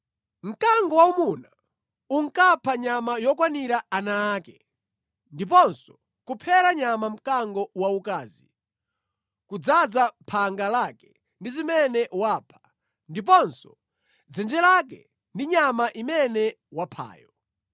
Mkango waumuna unkapha nyama yokwanira ana ake ndiponso kuphera nyama mkango waukazi, kudzaza phanga lake ndi zimene wapha ndiponso dzenje lake ndi nyama imene waphayo.